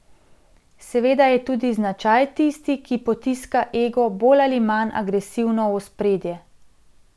Seveda je tudi značaj tisti, ki potiska ego bolj ali manj agresivno v ospredje.